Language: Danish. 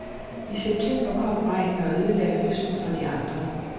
I september kom regnen og ødelagde høsten for de andre.